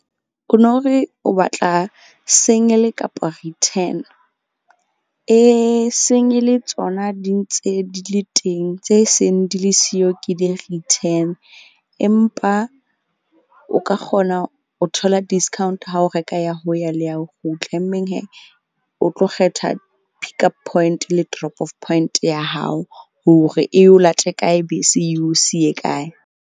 O no re o batla single kapa return? Single tsona di ntse di le teng, tse seng di le siyo ke di-return. Empa o ka kgona o thola discount ha o reka ya ho ya le ya ho kgutla. Mmeng o tlo kgetha pickup point le drop off point ya hao, hore e o late kae bese e o siye kae.